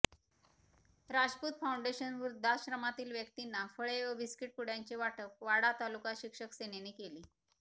Rajput foundation वृध्दाश्रमातील व्यक्तींना फळे व बिस्कीट पुड्यांचे वाटप वाडा तालुका शिक्षक सेनेने केले